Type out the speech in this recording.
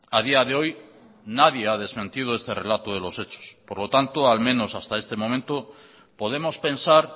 a día de hoy nadie ha desmentido este relato de los hechos por lo tanto al menos hasta este momento podemos pensar